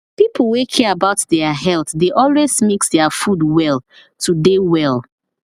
people wey care about their health dey always mix their food well to dey well